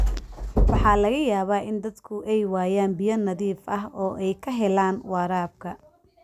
Waxaa laga yaabaa in dadku ay waayaan biyo nadiif ah oo ay ka helaan waraabka.